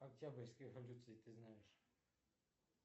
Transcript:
октябрьская революция ты знаешь